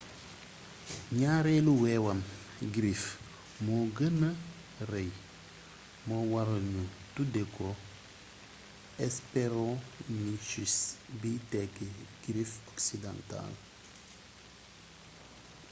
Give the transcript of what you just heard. ñaareelu wewam griffe moo gëna rëy moo waral ñu tuddee ko hesperonychus biy tekki griffe occidentale